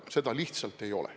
Seda lihtsalt ei ole.